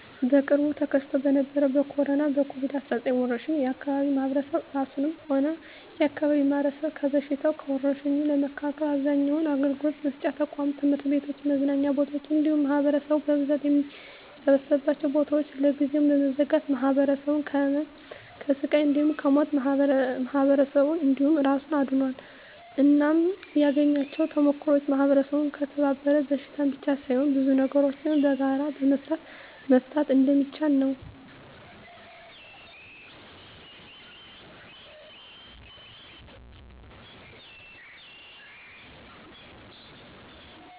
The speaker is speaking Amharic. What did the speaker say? በቅርቡ ተከስቶ በነበረዉ በኮሮና(ኮቪድ 19) ወረርሽ የአካባቢያችን ማህበረሰብ እራሱንም ሆነ የአካባቢውን ማህበረሰብ ከበሽታዉ (ከወርሽኙ) ለመከላከል አብዛኛዉን አገልግሎት መስጫ ተቋማት(ትምህርት ቤቶችን፣ መዝናኛ ቦታወችን እንዲሁም ማህበረሰቡ በብዛት የሚሰበሰብባቸዉን ቦታወች) ለጊዜዉ በመዝጋት ማህበረሰቡን ከህመም፣ ከስቃይ እንዲሁም ከሞት ማህበረሰብን እንዲሁም እራሱን አድኗል። እናም ያገኘኋቸዉ ተሞክሮወች ማህበረሰቡ ከተባበረ በሽታን ብቻ ሳይሆን ብዙ ነገሮችን በጋራ በመስራት መፍታት እንደሚችል ነዉ።